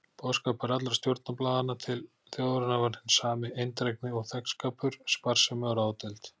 Boðskapur allra stjórnarblaðanna til þjóðarinnar var hinn sami: eindrægni og þegnskapur, sparsemi og ráðdeild.